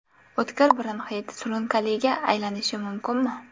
O‘tkir bronxit surunkaliga aylanishi mumkinmi?